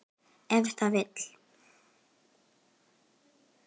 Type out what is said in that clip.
Ef það vill.